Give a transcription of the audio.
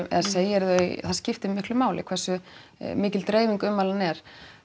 segirðu þau það skiptir miklu máli hversu mikil dreifing ummælanna er